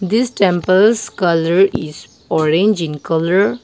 this temples colour is orange in colour.